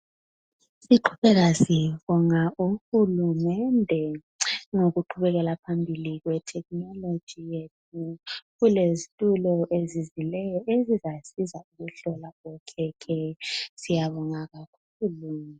Siqhubeka sibonga uhulumende ngokuqhubekela phambili kwe technology yethu .Kulezitulo ezizileyo ezizasiza ukuhlola okhekhe .Siyabonga kakhulu.